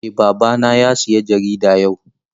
Eh babana ya sayi jarida yau.